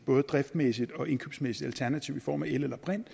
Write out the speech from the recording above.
både driftsmæssigt og indkøbsmæssigt alternativ i form af el eller brint